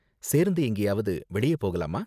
சேர்ந்து எங்கேயாவது வெளிய போகலாமா?